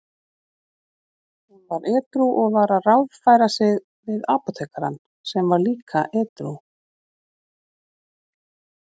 Hún var edrú og var að ráðfæra sig við apótekarann sem var líka edrú.